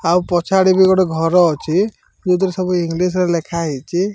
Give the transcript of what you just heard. ଆଉ ପଛଆଡେ ବି ଗୋଟେ ଘର ଅଛି ଯୋଉଥିରେ ସବୁ ଇଂଲିଶ ରେ ଲେଖାହେଇଛି।